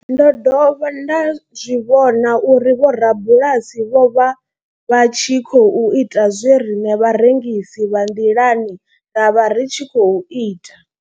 Ndo dovha nda zwi vhona uri vhorabulasi vho vha vha tshi khou ita zwe riṋe vharengisi vha nḓilani ra vha ri tshi khou ita.